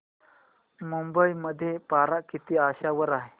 मुंबई मध्ये पारा किती अंशावर आहे